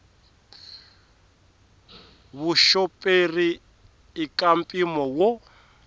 vuxoperi i ka mpimo wo